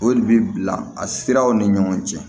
O de bi bila a siraw ni ɲɔgɔn cɛ